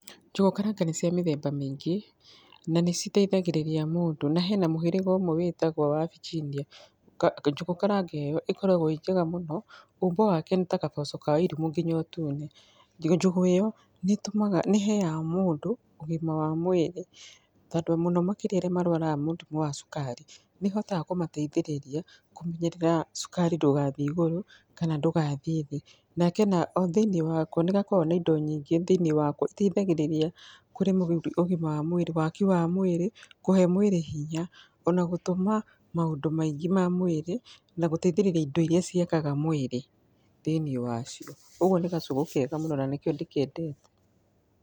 Njũgũ karanga nĩcia mĩthemba mĩingĩ na niciteithagĩrĩria mũndũ. Na hena mũhĩrĩga ũmwe wĩtagwo wa Viginia, njũgũ karanga ĩyo ĩkoragwo ĩ njega mũno, ũmbo wake nĩ ta gaboco kaa Wairimũ nginya ũtune. Njũgũ ĩyo nĩheyaga mũndũ ũgima wa mwĩrĩ tondũ mũno makĩria andũ rĩa marwaraga mũrimũ wa cukari, nĩhotaga kũmateithĩrĩria kũmenyerera cukari ndũgathiĩ igũrũ kana ndũgathiĩ thĩ. O thĩiniĩ wako nĩgakoragwo na indo nyingĩ thĩinĩ wako nĩgateithagĩrĩria harĩ ũgima wa mwĩrĩ, waki wa mwĩrĩ kũhe mwĩrĩ hinya ona gũtũma maũndũ maingĩ ma mwĩrĩ na gũteithĩrĩria indo iria ciakaga mwĩrĩ thĩiniĩ wacio. Ũguo nĩ gacũgũ kega mũno na nĩkĩo ndĩkendete.